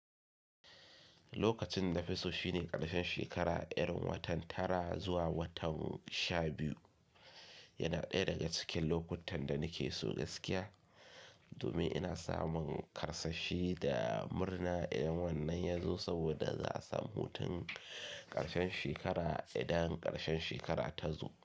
Lokacin da nafiso shine ƙarshen shekara, irin watan tara zuwa watan sha biyu yana ɗaya daga cikin lokutan da nake so gaskiya domin ina samun karsashi da murna idan wannan ya zo saboda za a samu mutun ƙarshen shekara, idan ƙarshen shekara ta zo.